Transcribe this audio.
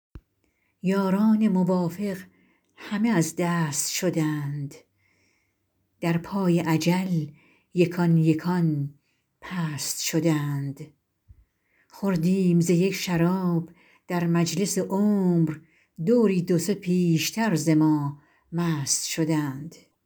یاران موافق همه از دست شدند در پای اجل یکان یکان پست شدند خوردیم ز یک شراب در مجلس عمر دوری دو سه پیشتر ز ما مست شدند